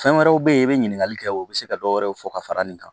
Fɛn wɛrɛw bɛ ye i bɛ ɲininkali kɛ o bɛ se ka dɔ wɛrɛw fɔ ka fara nin kan